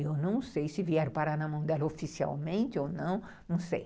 Eu não sei se vieram parar na mão dela oficialmente ou não, não sei.